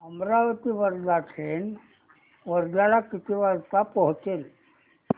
Amravati Wardha train वर्ध्याला किती वाजता पोहचेल